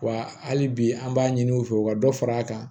Wa hali bi an b'a ɲini u fɛ u ka dɔ fara a kan